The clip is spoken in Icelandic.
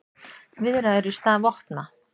Viðræður í stað vopna